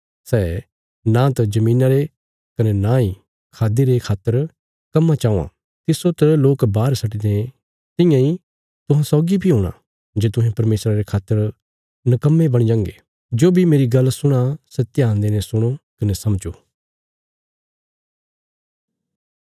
सै नांत धरतिया रे कने नां खाद्दि रे खातर कम्मा च औआं तिस्सो त लोक बाहर सट्टि दें तियां इ तुहां सौगी बी हूणा जे तुहें परमेशरा रे खातर निकम्मे बणगे जो बी मेरी गल्ल सुणां सै ध्यान देईने सुणो कने समझो